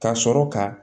Ka sɔrɔ ka